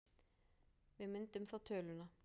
Við myndum þá töluna